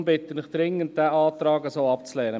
Daher bitte ich Sie dringend, den Antrag so abzulehnen.